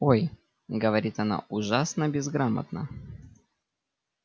ой говорит она ужасно безграмотно